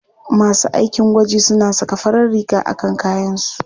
Masu aikin gwaji suna saka farar riga a kan kayansu.